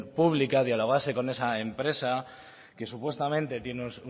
pública dialogase con esa empresa que supuestamente tiene